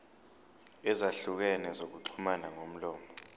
ezahlukene zokuxhumana ngomlomo